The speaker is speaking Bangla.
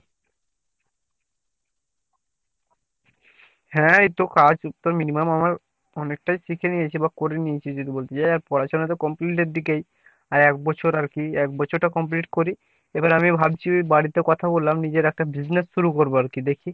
হ্যাঁ এইতো কাজ তো minimum আমার অনেকটাই শিখে নিয়েছি বা করে নিয়েছি যদি বলতে যাই আর পড়াশোনা তো complete এর দিকেই আর একবছর আরকি একবছর টা complete করি এবার আমি ভাবছি বাড়িতে কথা বললাম নিজের একটা business শুরু করবো আরকি দেখি